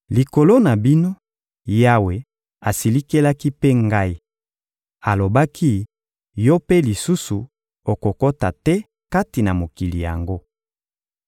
Likolo na bino, Yawe asilikelaki mpe ngai; alobaki: «Yo mpe lisusu okokota te kati na mokili yango.